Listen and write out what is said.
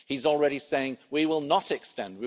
He's already saying we will not extend